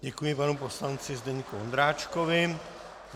Děkuji panu poslanci Zdeňku Ondráčkovi.